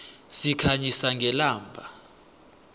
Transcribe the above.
sikhanyisa ngelamba